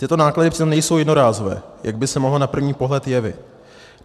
Tyto náklady přitom nejsou jednorázové, jak by se mohlo na první pohled jevit.